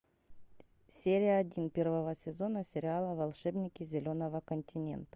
серия один первого сезона сериала волшебники зеленого континента